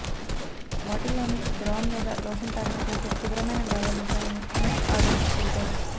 బాటిల్లోని ద్రవం లేదా లోషన్ తాగినట్లయితే తీవ్రమైన గాయాలవు తాయని మెక్ ఆడమ్స్ తెలిపారు